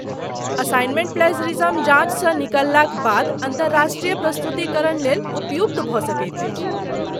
Assignment plagiarism जाँचसँ निकललाक बाद अन्तर्राष्ट्रीय प्रस्तुतीकरणलेल उपयुक्त भऽ सकैत अछि।